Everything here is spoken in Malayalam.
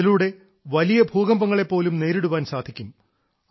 അതിലൂടെ വലിയ വലിയ ഭൂകമ്പങ്ങളെ പോലും നേരിടാൻ സാധിക്കും